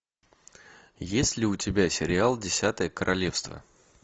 есть ли у тебя сериал десятое королевство